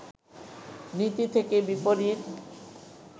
নীতি থেকে বিপরীত